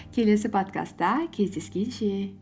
келесі подкастта кездескенше